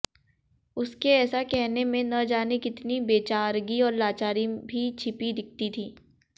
उसके ऐसा कहने में न जाने कितनी बेचारगी और लाचारी भी छिपी दिखती थी